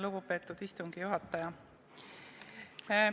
Lugupeetud istungi juhataja!